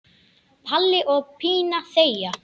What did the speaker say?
Palli og Pína þegja.